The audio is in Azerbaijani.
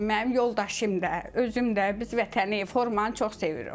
Mənim yoldaşım da, özüm də biz vətəni, formanı çox sevirik.